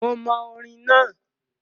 Mo mọ orin náà,